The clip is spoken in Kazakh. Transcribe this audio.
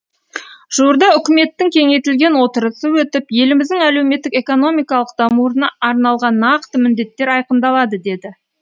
жуырда үкіметтің кеңейтілген отырысы өтіп еліміздің әлеуметтік экономикалық дамуына арналған нақты міндеттер айқындалады деді